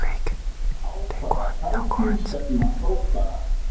Á hvaða sæti stefna Þróttarar?